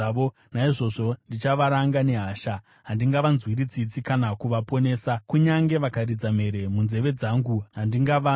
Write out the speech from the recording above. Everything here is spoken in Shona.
Naizvozvo ndichavaranga nehasha; handingavanzwiri tsitsi kana kuvaponesa. Kunyange vakaridza mhere munzeve dzangu, handingavanzwi.”